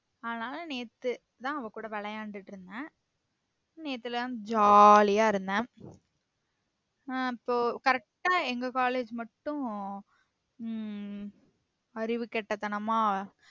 அதுனால நேத்து தான் அவ கூட விளையாண்டுட்டு இருந்தேன் நேத்துலம் jolly ஆ இருந்தேன் உம் அப்போ correct ஆ எங்க college மட்டும் உம் அறிவு கெட்ட தனமா